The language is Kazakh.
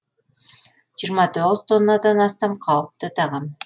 жиырма тоғыз тоннадан астам қауіпті тағам